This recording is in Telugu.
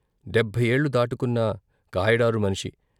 డెబ్భై ఏళ్ళు దాటుకున్నా కాయడారు మనిషి.